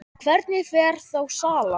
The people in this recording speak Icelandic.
Hvernig fer þá salan?